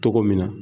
Togo min na